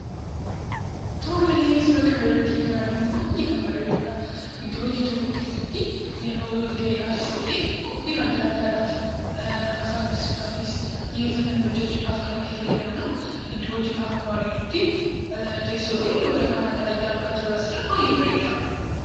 Tole, Suura kanarratti kan arginu baay'ee kan bareedudha. Iddoo hojii tokko keessatti yeroo wal-ga'iidhaafis ta'e, qophii adda addaadhaaf haasaa taasisuudhaafis, xiyyeeffatanii hojjechuudhaaf kan itti fayyadamnu. Iddoo hojiidha akkuma arginutti. Teessoo fi waraqaa adda addaa argaa jirra. Asirra baay'ee bareeda!